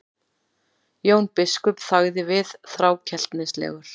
Jón biskup þagði við, þrákelknislegur.